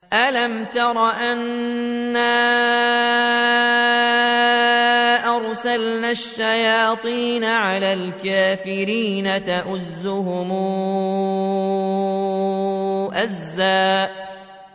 أَلَمْ تَرَ أَنَّا أَرْسَلْنَا الشَّيَاطِينَ عَلَى الْكَافِرِينَ تَؤُزُّهُمْ أَزًّا